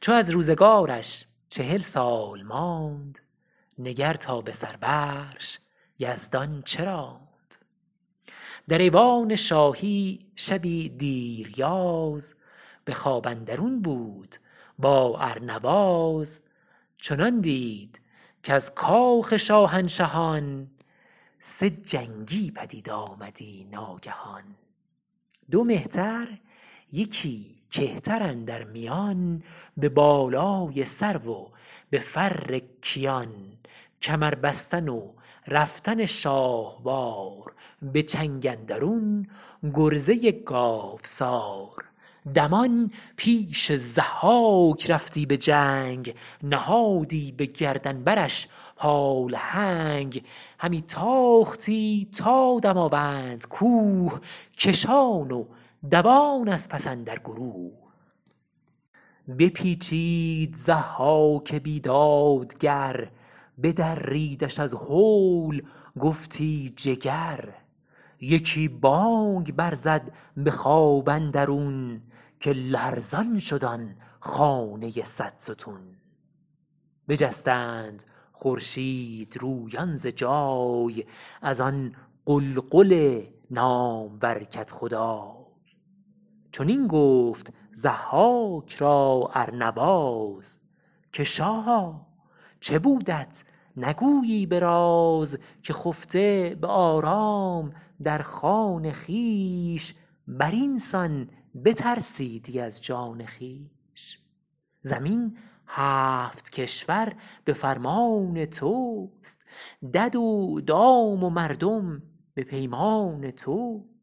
چو از روزگارش چهل سال ماند نگر تا به سر برش یزدان چه راند در ایوان شاهی شبی دیر یاز به خواب اندرون بود با ارنواز چنان دید کز کاخ شاهنشهان سه جنگی پدید آمدی ناگهان دو مهتر یکی کهتر اندر میان به بالای سرو و به فر کیان کمر بستن و رفتن شاهوار به چنگ اندرون گرزه گاوسار دمان پیش ضحاک رفتی به جنگ نهادی به گردن برش پالهنگ همی تاختی تا دماوند کوه کشان و دوان از پس اندر گروه بپیچید ضحاک بیدادگر بدریدش از هول گفتی جگر یکی بانگ بر زد به خواب اندرون که لرزان شد آن خانه صدستون بجستند خورشیدرویان ز جای از آن غلغل نامور کدخدای چنین گفت ضحاک را ارنواز که شاها چه بودت نگویی به راز که خفته به آرام در خان خویش بر این سان بترسیدی از جان خویش زمین هفت کشور به فرمان تو است دد و دام و مردم به پیمان تو است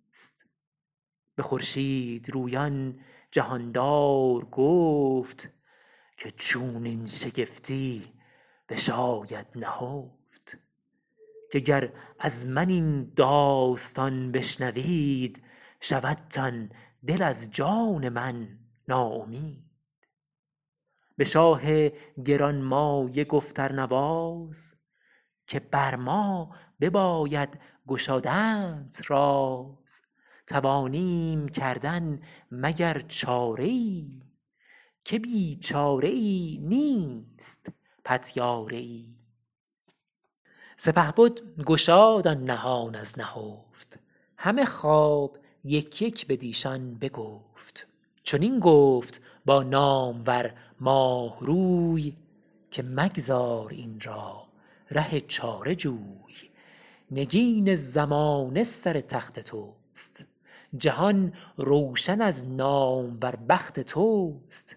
به خورشیدرویان جهاندار گفت که چونین شگفتی بشاید نهفت که گر از من این داستان بشنوید شودتان دل از جان من ناامید به شاه گرانمایه گفت ارنواز که بر ما بباید گشادنت راز توانیم کردن مگر چاره ای که بی چاره ای نیست پتیاره ای سپهبد گشاد آن نهان از نهفت همه خواب یک یک بدیشان بگفت چنین گفت با نامور ماهروی که مگذار این را ره چاره جوی نگین زمانه سر تخت تو است جهان روشن از نامور بخت تو است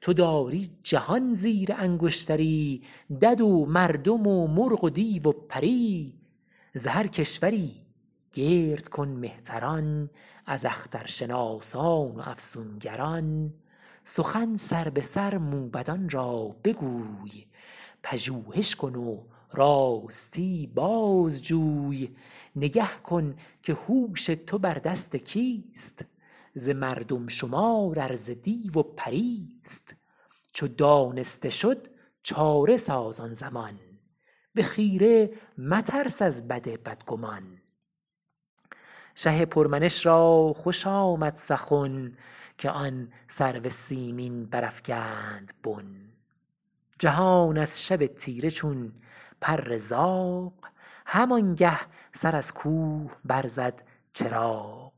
تو داری جهان زیر انگشتری دد و مردم و مرغ و دیو و پری ز هر کشوری گرد کن مهتران از اخترشناسان و افسونگران سخن سربه سر موبدان را بگوی پژوهش کن و راستی بازجوی نگه کن که هوش تو بر دست کیست ز مردم شمار ار ز دیو و پریست چو دانسته شد چاره ساز آن زمان به خیره مترس از بد بدگمان شه پر منش را خوش آمد سخن که آن سرو سیمین برافگند بن جهان از شب تیره چون پر زاغ همانگه سر از کوه بر زد چراغ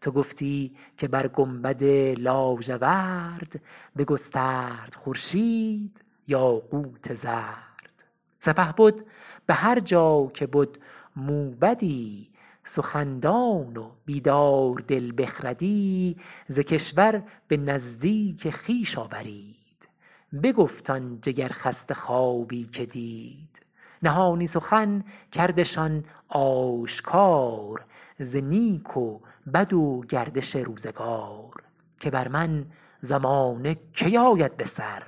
تو گفتی که بر گنبد لاژورد بگسترد خورشید یاقوت زرد سپهبد به هر جا که بد موبدی سخن دان و بیداردل بخردی ز کشور به نزدیک خویش آورید بگفت آن جگرخسته خوابی که دید نهانی سخن کردشان آشکار ز نیک و بد و گردش روزگار که بر من زمانه کی آید بسر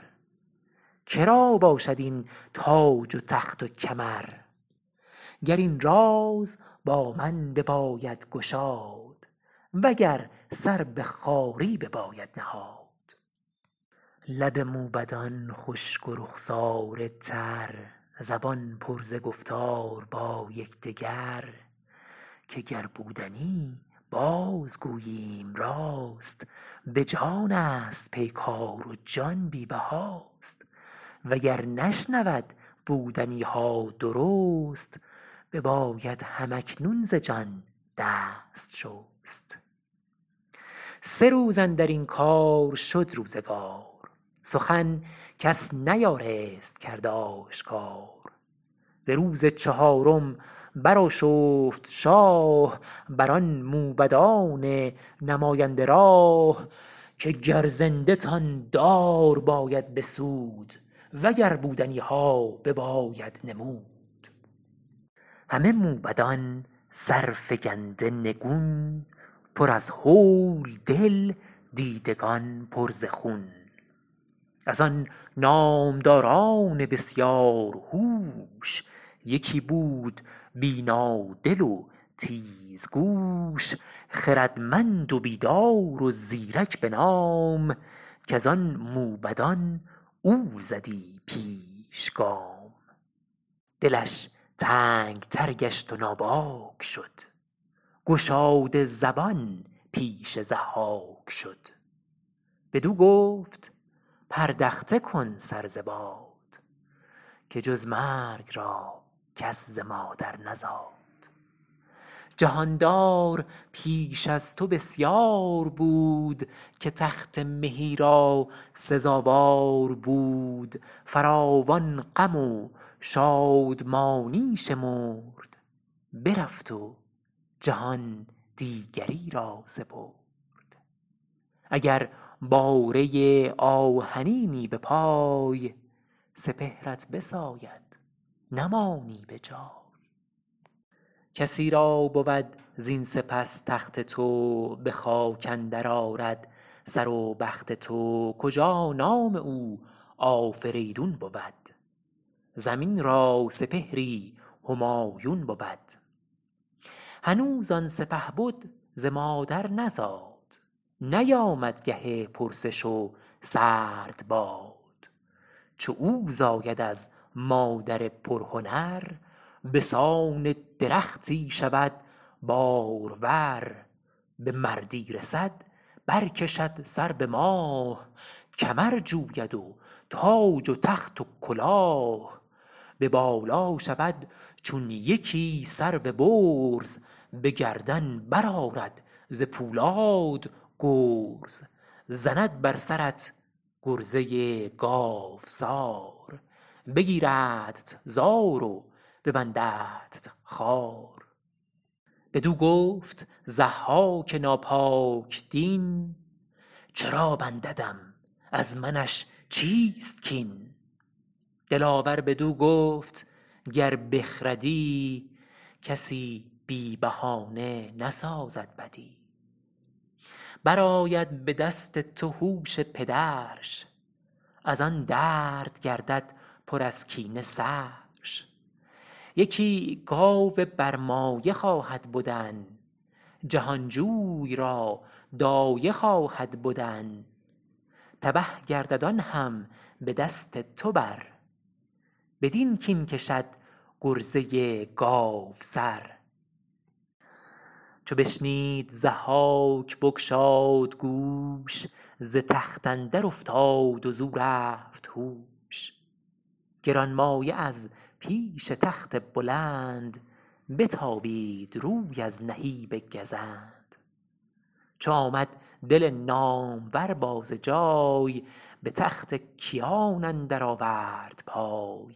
که را باشد این تاج و تخت و کمر گر این راز با من بباید گشاد و گر سر به خواری بباید نهاد لب موبدان خشک و رخساره تر زبان پر ز گفتار با یکدگر که گر بودنی باز گوییم راست به جانست پیکار و جان بی بهاست و گر نشنود بودنی ها درست بباید هم اکنون ز جان دست شست سه روز اندر این کار شد روزگار سخن کس نیارست کرد آشکار به روز چهارم برآشفت شاه بر آن موبدان نماینده راه که گر زنده تان دار باید بسود و گر بودنی ها بباید نمود همه موبدان سرفگنده نگون پر از هول دل دیدگان پر ز خون از آن نامداران بسیار هوش یکی بود بینادل و تیزگوش خردمند و بیدار و زیرک به نام کز آن موبدان او زدی پیش گام دلش تنگ تر گشت و ناباک شد گشاده زبان پیش ضحاک شد بدو گفت پردخته کن سر ز باد که جز مرگ را کس ز مادر نزاد جهاندار پیش از تو بسیار بود که تخت مهی را سزاوار بود فراوان غم و شادمانی شمرد برفت و جهان دیگری را سپرد اگر باره آهنینی به پای سپهرت بساید نمانی به جای کسی را بود زین سپس تخت تو به خاک اندر آرد سر و بخت تو کجا نام او آفریدون بود زمین را سپهری همایون بود هنوز آن سپهبد ز مادر نزاد نیامد گه پرسش و سرد باد چو او زاید از مادر پرهنر به سان درختی شود بارور به مردی رسد بر کشد سر به ماه کمر جوید و تاج و تخت و کلاه به بالا شود چون یکی سرو برز به گردن برآرد ز پولاد گرز زند بر سرت گرزه گاوسار بگیردت زار و ببنددت خوار بدو گفت ضحاک ناپاک دین چرا بنددم از منش چیست کین دلاور بدو گفت گر بخردی کسی بی بهانه نسازد بدی برآید به دست تو هوش پدرش از آن درد گردد پر از کینه سرش یکی گاو برمایه خواهد بدن جهانجوی را دایه خواهد بدن تبه گردد آن هم به دست تو بر بدین کین کشد گرزه گاوسر چو بشنید ضحاک بگشاد گوش ز تخت اندر افتاد و زو رفت هوش گرانمایه از پیش تخت بلند بتابید روی از نهیب گزند چو آمد دل نامور باز جای به تخت کیان اندر آورد پای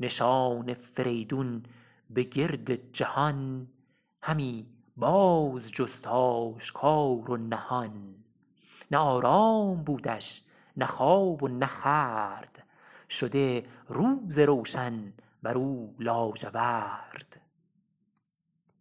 نشان فریدون به گرد جهان همی باز جست آشکار و نهان نه آرام بودش نه خواب و نه خورد شده روز روشن بر او لاژورد